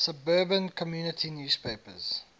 suburban community newspapers